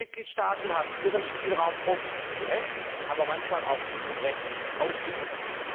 Die Mitgliedstaaten haben ihren Spielraum oft zu Recht aber manchmal auch zu Unrecht ausgenutzt.